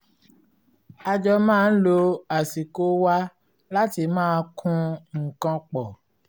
a jọ máa ń lo àsìkò wa láti máa kun nǹkan pọ̀